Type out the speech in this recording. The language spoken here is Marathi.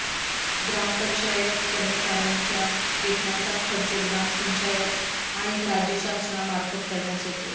ग्रामपंचायत कर्मचाऱ्यांच्या वेतनाचा खर्च ग्रामपंचायत आणि राज्य शासनामार्फत करण्यात येतो